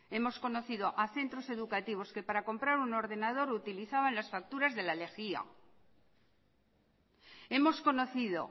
hemos conocido a centros educativos que para comprar un ordenador utilizaban las facturas de la lejía hemos conocido